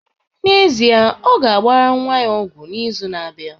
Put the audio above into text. N'ezie, ọ ga-agbara nwa ya ọgwụ n'izu na-abịa